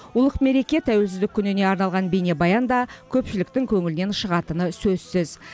ұлық мереке тәуелсіздік күніне арналған бейнебаян да көпшіліктің көңілінен шығатыны сөзсіз